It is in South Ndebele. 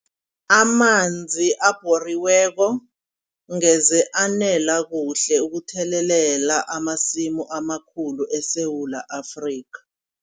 Amanzi abhoriweko ngeze anela kuhle ukuthelelela, amasimu amakhulu eSewula Afrika.